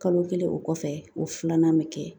Kalo kelen o kɔfɛ o filanan bɛ kɛ